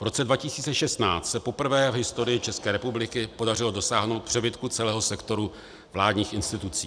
V roce 2016 se poprvé v historii České republiky podařilo dosáhnout přebytku celého sektoru vládních institucí.